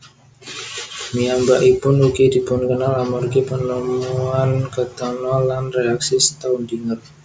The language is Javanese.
Piyambakipun ugi dipunkenal amargi penemuan ketena lan reaksi Staudinger